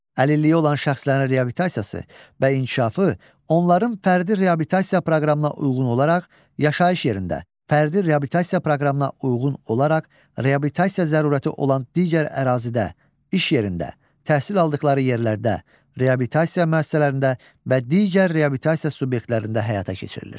Əlilliyi olan şəxslərin reabilitasiyası və inkişafı onların fərdi reabilitasiya proqramına uyğun olaraq yaşayış yerində, fərdi reabilitasiya proqramına uyğun olaraq reabilitasiya zərurəti olan digər ərazidə, iş yerində, təhsil aldıqları yerlərdə, reabilitasiya müəssisələrində və digər reabilitasiya subyektlərində həyata keçirilir.